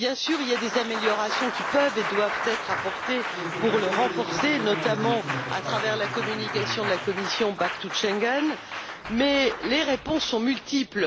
Bien sûr, il y a des améliorations qui peuvent et doivent être apportées pour renforcer l'accord, notamment à travers la communication de la Commission Back to Schengen, mais les réponses sont multiples.